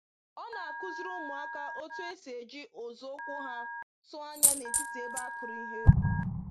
Ọ na-akuziri ụmụaka otu esi eji ụzọ ụkwụ ha tụọ anya n’etiti ebe a kụrụ ihe.